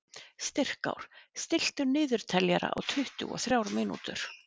Styrkár, stilltu niðurteljara á tuttugu og þrjár mínútur.